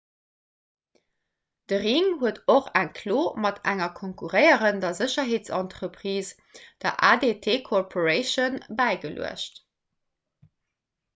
de ring huet och eng klo mat enger konkurréierender sécherheetsentreprise der adt corporation bäigeluecht